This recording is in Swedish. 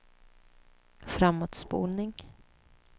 framåtspolning